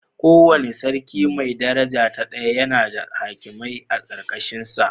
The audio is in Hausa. Kowane Sarki mai daraja ta daya yana da hakimai a ƙarƙashinsa.